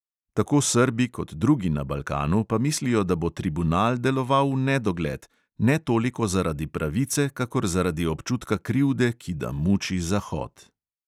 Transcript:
Tako srbi kot drugi na balkanu pa mislijo, da bo tribunal deloval v nedogled, ne toliko zaradi pravice kakor zaradi občutka krivde, ki da muči zahod.